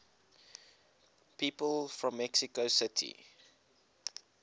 people from mexico city